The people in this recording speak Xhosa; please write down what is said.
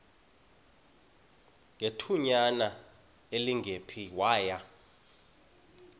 ngethutyana elingephi waya